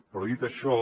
però dit això